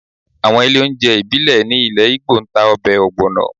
Àwọn ilé oúnjẹ ìbílẹ̀ ní ilẹ̀ Igbo ń ta ọbẹ̀ ogbono